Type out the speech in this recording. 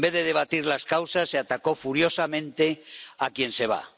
En vez de debatir las causas se atacó furiosamente a quien se va.